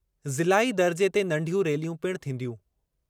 ज़िलाई दर्जे ते नंढियूं रैलियूं पिणु थींदियूं।